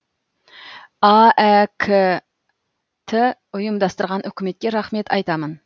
аәк ті ұйымдастырған үкіметке рахмет айтамын